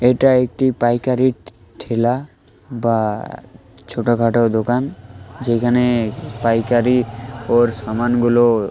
এটা একটি পাইকারির ঠেলা বা ছোটখাটো দোকান যেখানে পাইকারি ওর সামানগুলো --